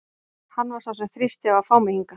Hann var sá sem þrýsti á að fá mig hingað.